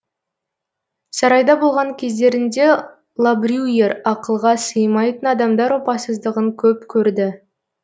сарайда болған кездерінде лабрюйер ақылға сыймайтын адамдар опасыздығын көп көрді